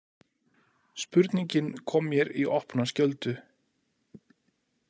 Spurningin kom mér í opna skjöldu.